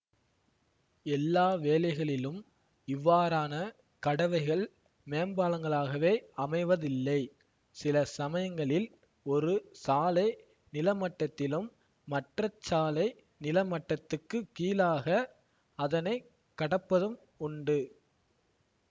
எல்லா வேளைகளிலும் இவ்வாறான கடவைகள் மேம்பாலங்களாகவே அமைவதில்லை சில சமயங்களில் ஒரு சாலை நிலமட்டத்திலும் மற்றச்சாலை நில மட்டத்துக்குக் கீழாக அதனை கடப்பதும் உண்டு